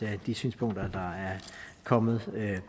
at de synspunkter der er kommet